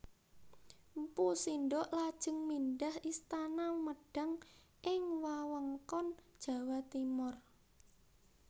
Mpu Sindok lajeng mindhah istana Medang ing wewengkon Jawa Timur